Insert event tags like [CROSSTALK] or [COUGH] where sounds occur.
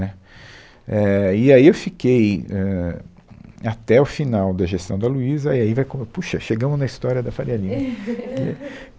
Né, é, e aí eu fiquei, ãh, até o final da gestão da Luiza, e aí vai como... Puxa, chegamos na história da Faria Lima. [LAUGHS]